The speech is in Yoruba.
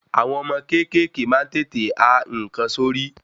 Àwọn ọmọ kékèké maá n tètè a nǹkan sí orí